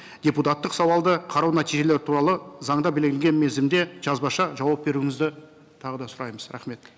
депутаттық сауалды қарау нәтижелері туралы заңда белгіленген мерзімде жазбаша жауап беруіңізді тағы да сұраймыз рахмет